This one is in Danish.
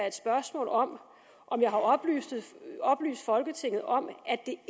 et spørgsmål om om jeg har oplyst folketinget om at det